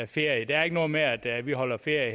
ferie det er ikke noget med at vi holder ferie